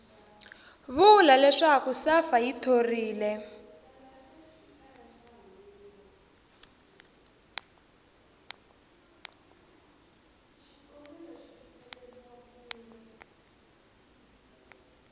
vula leswaku safa yi thorile